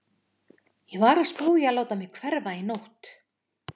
Ég var að spá í að láta mig hverfa í nótt.